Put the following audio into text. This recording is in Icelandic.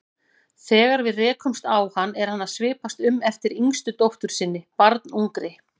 Þegar við rekumst á hann er hann að svipast eftir yngstu dóttur sinni, barnungri.